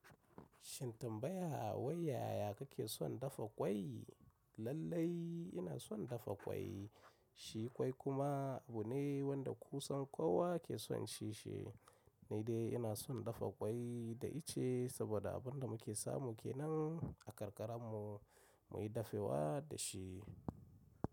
Shin tambaya wai yaya kake son dafa ƙwai? Lallai ina son dafa ƙwai. Shi ƙwai kuma abu ne wanda kusan kowa ke son cin shi. Ni dai ina son dafa ƙwai da ice saboda abin da muke samu kenan a karkara mu, muyi dafewa da shi.